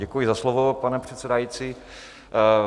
Děkuji za slovo, pane předsedající.